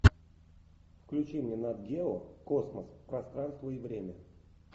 включи мне нат гео космос пространство и время